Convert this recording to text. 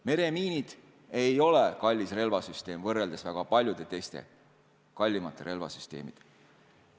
Meremiinid ei ole kallis relvasüsteem võrreldes väga paljude teiste, kallimate relvasüsteemidega.